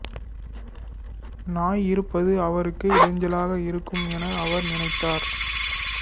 நாய் இருப்பது அவருக்கு இடைஞ்சலாக இருக்கும் என அவர் நினைத்தார்